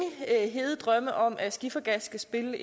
hede drømme om at skifergas skal spille